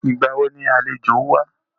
Ìgbà wo ni àlejò wá?